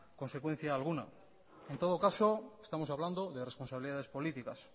consecuencia alguna en todo caso estamos hablando de responsabilidades políticas